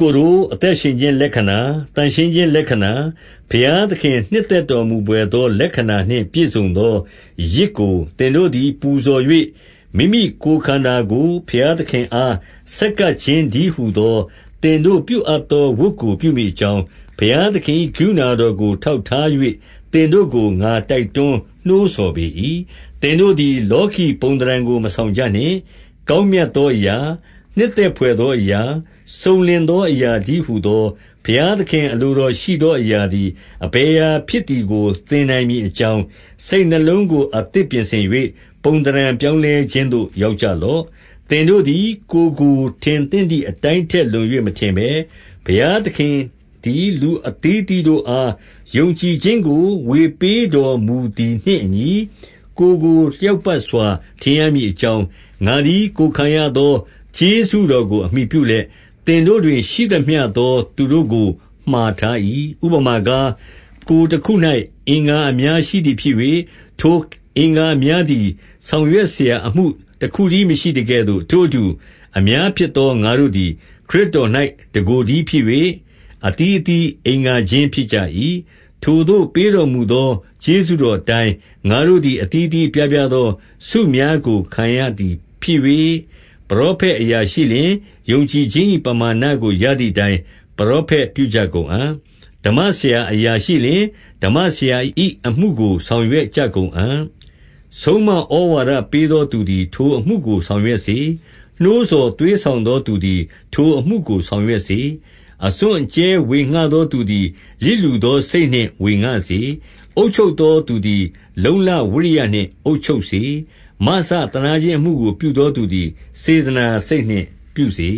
ကိုတို့၊ အသက်ရှင်ခြင်းလက္ခဏာ၊ သန့်ရှင်းခြင်းလက္ခဏာ၊ ဘုရားသခင်နှစ်သက်တော်မူ ဘွယ်သောလက္ခဏာနှင့် ပြည့်စုံသော ယဇ်ကို သင်တို့သည် ပူဇော်၍၊ မိမိကိုယ်ခန္ဓာကို ဘုရားသခင်အား ဆက်ကပ်ခြင်းတည်းဟူသော သင်တို့ပြုအပ်သော ဝတ်ကို ပြုမည်အကြောင်း၊ ဘုရားသခင်၏ ကရုဏာတော်ကို ထောက်ထား၍၊ သင်တို့ကို ငါတိုက်တွန်းနှိုးဆော်ပေ၏။ 2 သင်တို့သည် လောကီပုံသဏ္ဌာန်ကို မဆောင်ကြနှင့်။ ကောင်းမြတ်သောအရာ၊ နှစ်သက်ဘွယ်သောအရာ၊ စုံလင်သောအရာတည်းဟူသော ဘုရားသခင်အလိုတော်ရှိသော အရာသည် အဘယ်အရာဖြစ်သည်ကို သင်နိုင်မည်အကြောင်း၊ စိတ်နှလုံးကို အသစ်ပြင်ဆင်၍ ပုံသဏ္ဌာန် ပြောင်းလဲခြင်းသို့ ရောက်ကြလော့။ 3 သင်တို့သည် ကိုယ်ကိုထင်သင့်သည် အတိုင်းထက်လွန်၍ မထင်ဘဲ၊ ဘုရားသခင်သည် လူအသီးအသီး တို့အား ယုံကြည်ခြင်းကို ဝေပေးတော်မူသည်နှင့်အညီ၊ ကိုယ်ကိုလျောက်ပတ်စွာထင်ရမည် အကြောင်း ငါသည် ကိုယ်ခံရသော ကျေးဇူးတော်ကိုအမှီပြုလျက်၊ သင်တို့တွင် ရှိသမျှသောသူတို့ကိုမှာထား၏။ 4 ဥပမာကား၊ ကိုယ်တခု၌ အင်္ဂါအများရှိသည်ဖြစ်၍၊ ထိုအင်္ဂါအများသည် ဆောင်ရွက်စရာအမှုတခု တည်း မရှိသကဲ့သို့၊ 5 ထိုအတူ၊ အများဖြစ်သောငါတို့သည် ခရစ်တော်၌တကိုယ်တည်းဖြစ်၍၊ အသီးအသီးအင်္ဂါချင်း ဖြစ်ကြ၏။ 6 ထိုသို့ပေးတော်မူသော ကျေးဇူးတော်အတိုင်း ငါတို့သည် အသီးသီးအပြားပြားသော ဆုများကိုခံရသည် ဖြစ်၍၊ ပရောဖက်အရာရှိလျှင်၊ ယုံကြည်ခြင်း၏ပမာဏကို ရသည်အတိုင်း ပရောဖက်ပြုကြကုန်အံ့။ 7 ဓမ္မဆရာအရာရှိလျှင်၊ ဓမ္မဆရာ၏အမှုကို ဆောင်ရွက်ကြကုန်အံ့။ ဆုံးမဩဝါဒပေးသောသူသည် ထိုအမှုကိုဆောင်ရွက်စေ။ 8 နှိုးဆော်သွေးဆောင်သောသူသည် ထိုအမှုကို ဆောင်ရွက်စေ။ အစွန့်အကြဲဝေငှသောသူသည် လျစ်လျူသောစိတ်နှင့်ဝေငှစေ။ အုပ်ချုပ်သောသူသည် လုံ့လဝိရိယနှင့် အုပ်ချုပ်စေ။ မစသနားခြင်း အမှုကိုပြုသောသူသည် စေတနာစိတ်နှင့်ပြုစေ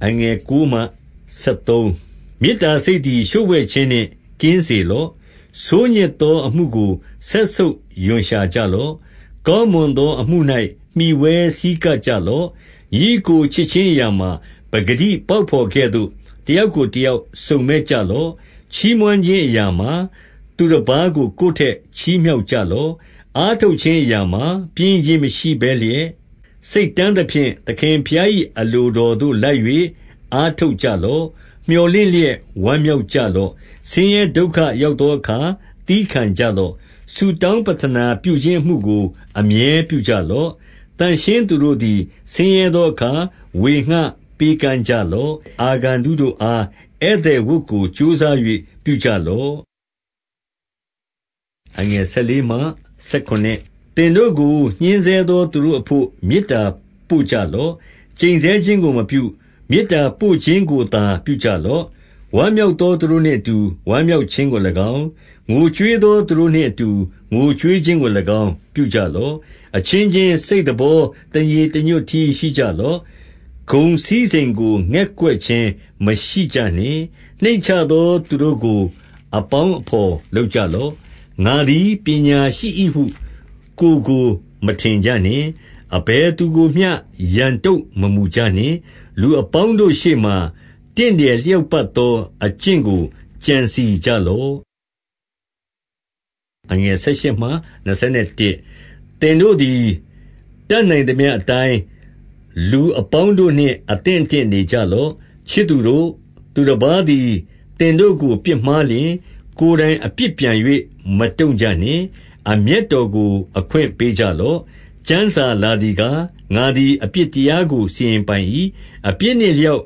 ။ 9 မေတ္တာစိတ်သည် လျှို့ဝှက်ခြင်းနှင့် ကင်းစေလော့။ ဆိုးညစ်သောအမှုကို စက်ဆုပ်ရွံ့ရှာကြလော့။ ကောင်းမွန်သောအမှု၌ မှီဝဲဆည်းကပ်ကြလော့။ 10 ညီအစ်ကိုချစ်ခြင်းအရာမှာ၊ ပကတိပေါက်ဘော်ကဲ့သို့ တယောက်ကိုတယောက်စုံမက်ကြလော့။ ချီးမွမ်း ခြင်းအရာမှာ၊ သူတပါးကို ကိုယ်ထက်ချီးမြှောက်ကြလော့။ 11 အားထုတ်ခြင်းအရာမှာ ပျင်းရိခြင်းမရှိဘဲလျက်၊ စိတ်တန်းသဖြင့် သခင်ဘုရား၏အလိုတော်သို့လိုက်၍ အားထုတ်ကြလော့။ 12 မြော်လင့်လျက် ဝမ်းမြောက်ကြလော့။ ဆင်းရဲဒုက္ခရောက်သောအခါ သည်းခံကြလော့။ ဆုတောင်း ပဌနာပြုခြင်းအမှုကို အမြဲပြုကြလော့။ 13 သန့်ရှင်းသောသူတို့သည် ဆင်းရဲသောအခါ ဝေငှပေးကမ်းကြလော့။ အာဂန္တုတို့အား ဧည့်သည်ဝတ်ကို ကြိုးစား၍ပြုကြလော့။ 14 သင်တို့ကို ညှဉ်းဆဲသောသူတို့အဘို့ မေတ္တာ ပို့ကြလော့။ ကျိန်ဆဲခြင်းကိုမပြု၊ မေတ္တာပို့ခြင်းကိုသာ ပြုကြလော့။ 15 ဝမ်းမြောက်သောသူတို့နှင့်အတူ၊ ဝမ်းမြောက်ခြင်းကို၎င်း၊ ငိုကြွေးသောသူတို့နှင့်အတူ ငိုကြွေးခြင်းကို ၎င်း ပြုကြလော့။ 16 အချင်းချင်းစိတ်သဘော တညီတညွတ်တည်း ရှိကြလော့။ ဂုဏ်စည်းစိမ်ကိုငဲ့ကွက်ခြင်းမရှိကြနှင့်။ နှိမ့်ချသောသူတို့ကို အပေါင်းအဘော်လုပ်ကြလော့။ ငါသည် ပညာရှိ၏ဟု ကိုယ်ကိုမထင်ကြနှင့်။ 17 အဘယ်သူကိုမျှ ရန်တုံ့မမူကြနှင့်။ လူအပေါင်းတို့ရှေ့မှာ တင့်တယ်လျောက်ပတ်သော အကျင့်ကို ကြံစည်ကြလော့။ 18 သင်တို့သည် တတ်နိုင်သမျှအတိုင်း လူအပေါင်းတို့နှင့် အသင့်အတင့်နေကြလော့။ 19 ချစ်သူတို့၊ သူတပါးသည်သင်တို့ကို ပြစ်မှားလျှင်၊ ကိုယ်တိုင် အပြစ်ပြန်၍ မတုံ့ကြနှင့်။ အမျက်တော်ကို အခွင့်ပေးကြလော့။ ကျမ်းစာလာသည်ကား၊ ငါသည် အပြစ်တရားကို စီရင်ပိုင်၏။ အပြစ်နှင့်အလျောက်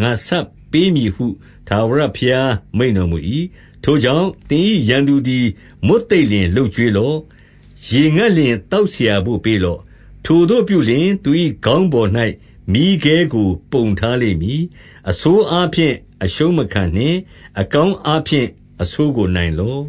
ငါဆပ်ပေးမည်ဟု ထာဝရဘုရားမိန့်တော်မူ၏။ 20 ထိုကြောင့်သင်၏ရန်သူသည် မွတ်သိပ်လျှင် လုပ်ကျွေးလော့။ ရေငတ်လျှင် သောက်စရာဘို့ပေးလော့။ ထိုသို့ပြုလျှင်။ သူ၏ခေါင်းပေါ်၌ မီးခဲကိုပုံထားလိမ့်မည်။ 21 အဆိုးအာဖြင့် အရှုံးမခံနှင့် အကောင်းအားဖြင့် အဆိုးကို နိုင်လော့